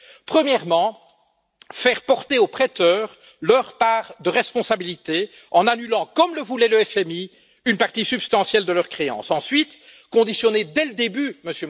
Premièrement, faire porter aux prêteurs leur part de responsabilité en annulant, comme le voulait le FMI, une partie substantielle de leurs créances. Deuxièmement, conditionner dès le début, M.